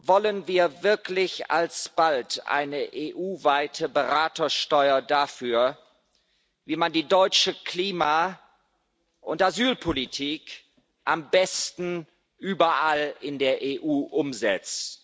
Wollen wir wirklich alsbald eine EU weite Beratersteuer dafür, wie man die deutsche Klima und Asylpolitik am besten überall in der EU umsetzt?